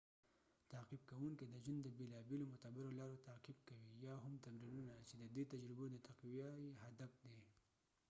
تعقیب کوونکې د ژوند د بیلا بیلو معتبرو لارو تعقیب کوي یا هم تمرینونه چې ددې تجربو د تقويه یې هدف دي